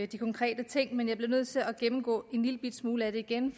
de konkrete ting men jeg bliver nødt til at gennemgå en lille bitte smule af det igen